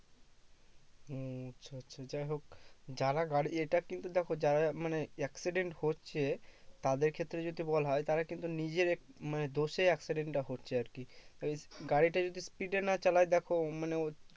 ও আচ্ছা আচ্ছা যাই হোক যারা গাড়ি এটা কিন্তু দেখো যারা মানে accident হচ্ছে তাদের ক্ষেত্রে যদি বলা হয়ে তারা কিন্তু নিজের মানে দোষে accident টা হচ্ছে আর কি তা ওই গাড়িটা যদি speed এ না চালায় দেখো মানে